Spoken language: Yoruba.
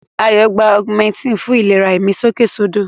Ayọ̀ gba Augmentin fún ìlera ìmí sókèsódò.